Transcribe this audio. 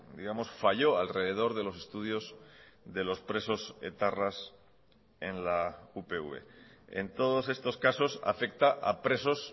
digamos falló alrededor de los estudios de los presos etarras en la upv en todos estos casos afecta a presos